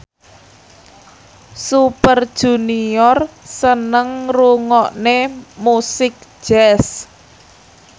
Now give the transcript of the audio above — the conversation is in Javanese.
Super Junior seneng ngrungokne musik jazz